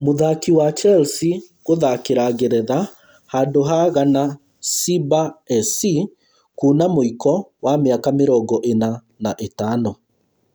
Mũthaki wa Chelsea gũthakĩra ngeretha handu ha Ghana Simba SC kuuna mũiko wa mĩaka mĩrongo ĩna na ĩtano?